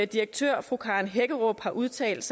direktøren fru karen hækkerup har udtalt